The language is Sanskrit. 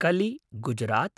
कलि - गुजरात्